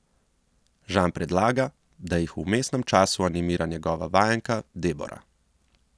Žan predlaga, da jih v vmesnem času animira njegova vajenka Debora.